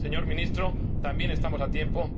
Señor Ministro, también estamos a tiempo.